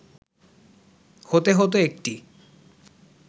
হতে হত একটি